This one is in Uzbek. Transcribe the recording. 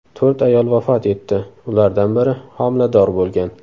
To‘rt ayol vafot etdi, ulardan biri homilador bo‘lgan.